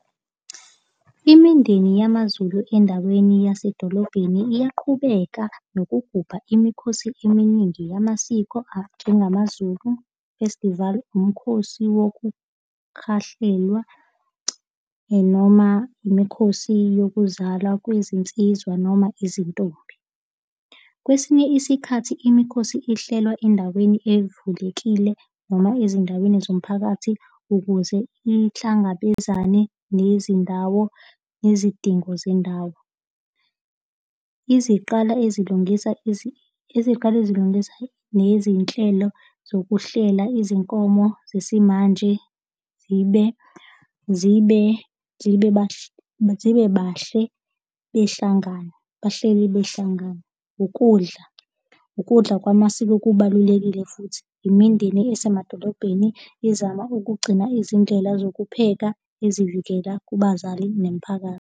Imindeni yamaZulu endaweni yasedolobheni iyaqhubeka nokugubha imikhosi eminingi yamasiko anjengamaZulu Festival, umkhosi wokukhahlelwa noma imikhosi yokuzala kwezinsizwa noma izintombi. Kwesinye isikhathi imikhosi ihlelwa endaweni evulekile noma ezindaweni zomphakathi ukuze ihlangabezane nezindawo nezidingo zendawo. Iziqala ezilungisa eziqala ezilungisa nezinhlelo zokuhlela izinkomo zesimanje zibe, zibe, zibe zibe bahle behlangana, bahleli behlangana. Ukudla, ukudla kwamasiko kubalulekile futhi imindeni esemadolobheni izama ukugcina izindlela zokupheka ezivikela kubazali nemiphakathi.